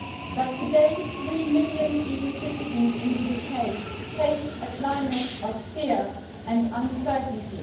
But today three million EU citizens in the UK face a climate of fear and uncertainty.